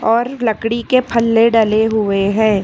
और लकड़ी के फल्ले डले हुए है।